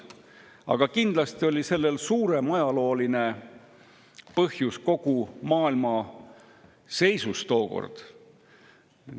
Aga kindlasti oli sellel suurem ajalooline põhjus: tookordne seis kogu maailmas.